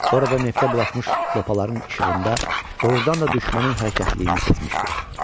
Oradan neftə bulaşmış lopaların işığında doğrudan da düşmənin hərəkətliliyini sezmişdi.